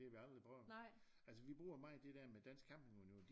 Det vi aldrig prøven altså vi bruger meget det der med Dansk Camping Union